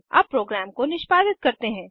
अब प्रोग्राम को निष्पादित करते हैं